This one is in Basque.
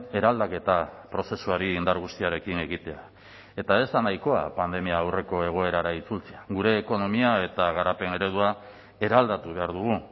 eraldaketa prozesuari indar guztiarekin egitea eta ez da nahikoa pandemia aurreko egoerara itzultzea gure ekonomia eta garapen eredua eraldatu behar dugu